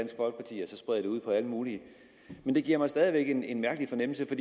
sprede det ud på alle mulige men det giver mig stadig væk en en mærkelig fornemmelse